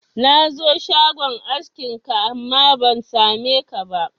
Na zo shagon askin ka, amma ban sa me ka ba